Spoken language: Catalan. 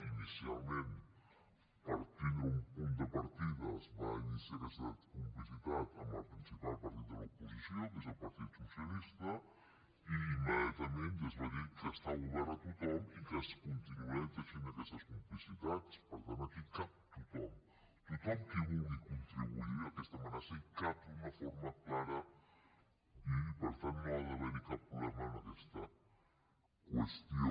inicialment per tindre un punt de partida es va iniciar aquesta complicitat amb el principal partit de l’oposició que és el partit socialista i immediatament ja es va dir que estava obert a tothom i que es continuarien teixint aquestes complicitats per tant aquí hi cap tothom tothom qui vulgui contribuir a aquesta amenaça hi cap d’una forma clara i per tant no ha d’haver hi cap problema en aquesta qüestió